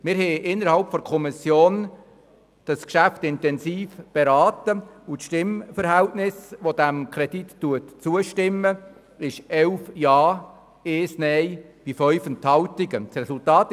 Wir haben das Geschäft in der Kommission intensiv beraten und stimmen dem Kredit mit 11 Ja-Stimmen gegen 1 Nein-Stimme bei 5 Enthaltungen zu.